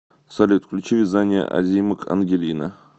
салют включи вязание озимок ангелина